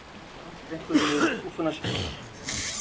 Hún henti einhverju niður í skúffuna sína og skellti henni aftur.